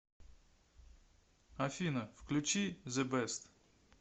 афина включи зе бест